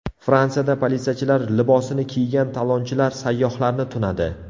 Fransiyada politsiyachilar libosini kiygan talonchilar sayyohlarni tunadi.